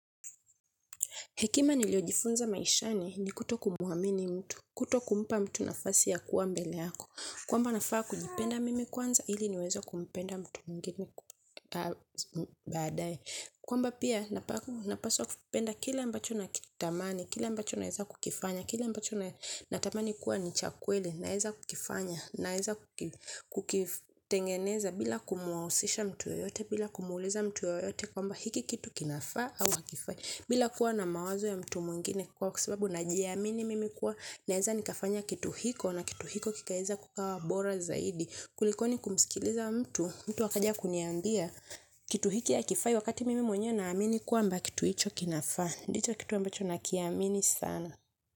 Hekima niliyojifunza maishani ni kutokumwamini mtu, kutokumpa mtu nafasi ya kuwa mbele yako. Kwamba nafaa kujipenda mimi kwanza, ili niweze kumpenda mtu mwingine baadaye. Kwamba pia napaswa kupenda kila ninachokitamani, kila ninaweza kukifanya, kila ninatamani kuwa ni cha kweli, naweza kukifanya, naweza kukitengeneza bila kumhusisha mtu yeyote, bila kumweleza mtu yeyote. Kwamba hiki kitu kinafaa ama hakifai bila kuwa na mawazo ya mtu mwingine kwa sababu najiamini mimi kuwa naweza nikafanya kitu hiko na kitu hiko kikaweza kikawa bora zaidi kuliko kumsikiza mtu, mtu akaja akaniambia kitu hiki hakifai wakati mimi mwenyewe naamini kwamba kitu hicho kinafaa, ndicho kitu ambacho nakiamini sana.